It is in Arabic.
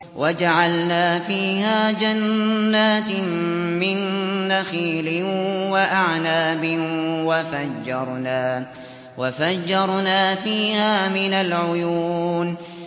وَجَعَلْنَا فِيهَا جَنَّاتٍ مِّن نَّخِيلٍ وَأَعْنَابٍ وَفَجَّرْنَا فِيهَا مِنَ الْعُيُونِ